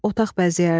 Otaq bəzəyərdilər.